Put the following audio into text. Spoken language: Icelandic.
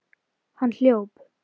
Hann hljóp.